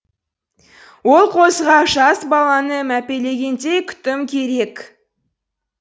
ол қозыға жас баланы мәпелегендей күтім керек